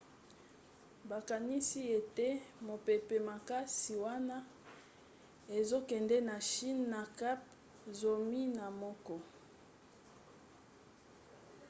bakanisi ete mopepe makasi wana ezokende na chine na kph zomi na moko